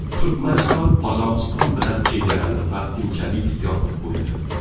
Turkmaniston Qozog‘iston bilan chegarani vaqtinchalik yopib qo‘ydi.